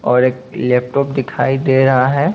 और एक लैपटॉप दिखाई दे रहा है।